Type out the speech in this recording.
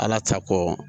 Ala ta kɔ